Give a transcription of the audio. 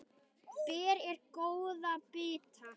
Ber ég góða bita.